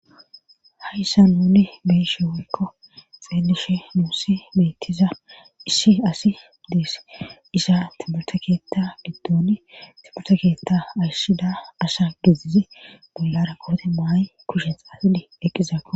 hayssa nuni beyishe wakko xeelishe nuusi beettiza ishi asi deese isha ati murta keetta giddon tipurta keetta ashida asha gizize bollara koote maay kushen xaasidi eqqizaako